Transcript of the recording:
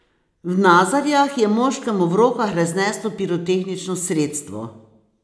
V Nazarjah je moškemu v rokah razneslo pirotehnično sredstvo.